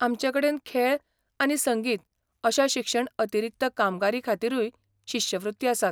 आमचेकडेन खेळ आनी संगीत अश्या शिक्षण अतिरिक्त कामगिरींखातीरूय शिश्यवृत्ती आसात.